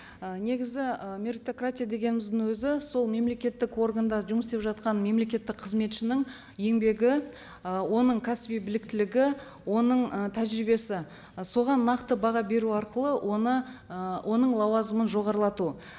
ы негізі ы меритократия дегеніміздің өзі сол мемлекеттік органда жұмыс істеп жатқан мемлекеттік қызметшінің еңбегі ы оның кәсіби біліктілігі оның ы тәжірибесі соған нақты баға беру арқылы оны ы оның лауазымын жоғарлату